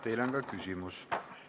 Teile on ka küsimus.